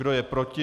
Kdo je proti?